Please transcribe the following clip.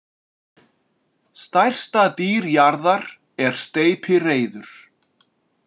Stærsta dýr jarðar er steypireyður.